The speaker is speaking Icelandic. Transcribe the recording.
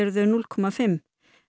þau núll komma fimm